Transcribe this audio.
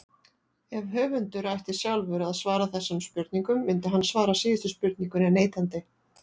Ef höfundur ætti sjálfur að svara þessum spurningum myndi hann svara síðustu spurningunni neitandi.